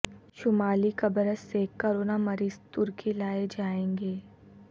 شمالی قبرص سے کورونا مریض ترکی لائے جائیں گے